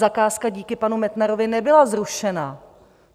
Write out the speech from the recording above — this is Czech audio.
Zakázka díky panu Metnarovi nebyla zrušena.